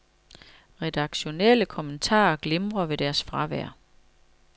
Redaktionelle kommentarer glimrer ved deres fravær.